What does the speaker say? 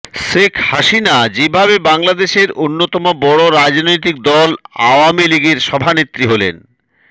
শেখ হাসিনা যেভাবে বাংলাদেশের অন্যতম বড় রাজনৈতিক দল আওয়ামী লীগের সভানেত্রী হলেন